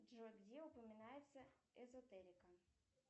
джой где упоминается изотерика